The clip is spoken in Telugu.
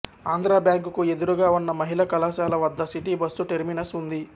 ఆంధ్ర బ్యాంకుకు ఎదురుగా ఉన్న మహిళా కళాశాల వద్ద సిటీ బస్సు టెర్మినస్ ఉంది